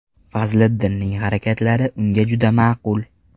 Fazliddinning harakatlari unga juda ma’qul.